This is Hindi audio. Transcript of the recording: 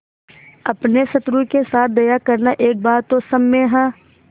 अपने शत्रु के साथ दया करना एक बार तो क्षम्य है